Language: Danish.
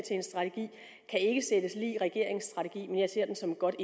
en strategi ikke sættes lig regeringens strategi men jeg ser det som et godt